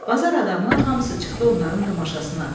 Bazar adamı hamısı çıxdı onların tamaşasına.